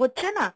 হচ্ছে না?